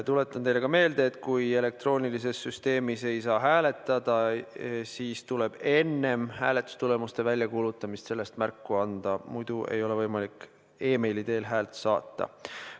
Tuletan teile meelde, et kui elektroonilises süsteemis ei saa hääletada, siis tuleb enne hääletustulemuste väljakuulutamist sellest märku anda, muidu ei ole võimalik meili teel häält saata.